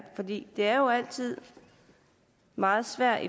for det er jo altid meget svært